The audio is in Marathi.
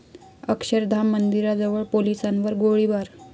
अक्षरधाम मंदिराजवळ पोलिसांवर गोळीबार